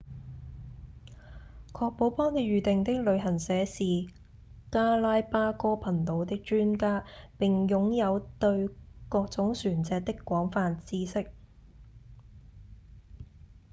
確保幫您預訂的旅行社是加拉巴哥群島的專家並擁有對各種船隻的廣泛知識